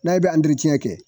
N'ɛ bɛ kɛ